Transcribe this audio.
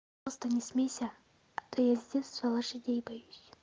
просто не смейся а то я с детства лошадей боюсь